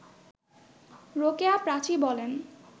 রোকেয়া প্রাচী বলেন